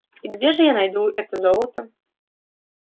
и где же я найду это золото